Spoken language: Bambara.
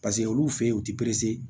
Paseke olu fe ye u ti